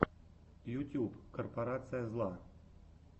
ютюб корпорация зла